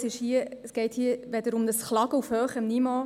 Es geht hier nicht um ein Klagen auf hohem Niveau.